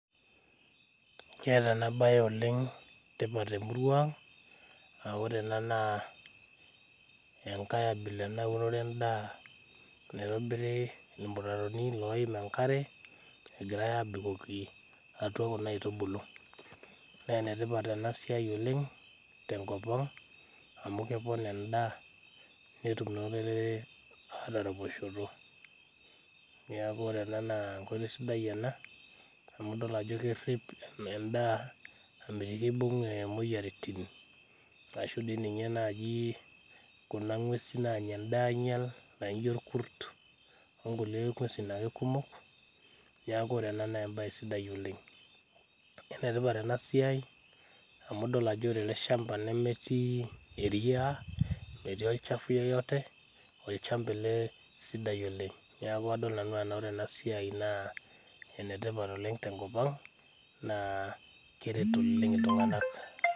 Keeta ena baye oleng tipat temurua ang aa ore ena naa enkae abila ena eunore endaa naitobiri irmutaroni loim enkare egirae abukoki atua kuna aitubulu nenetipat ena siai oleng tenkop ang amu kepon endaa netum naa olorere ataraposhoto niaku ore ena naaa enkoitoi sidai ena amu idol ajo kerrip em endaa amitiki ibung eh imoyiaritin ashu dii ninye naaji kuna ng'uesin naanya endaa ainyial naijio irkurt onkulie ng'uesin ake kumok niaku ore ena naa embaye sidai oleng enetipat ena siai amu idol ajo ore ele shamba nemetii eria metii olchafu yoyote olchamba ele sidai oleng niaku adol nanu anaa ore ena siai naa enetipat oleng tenkop ang naa keret oleng iltung'anak.